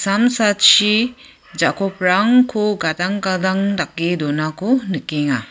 ja·koprangko gadang gadang dake donako nikenga.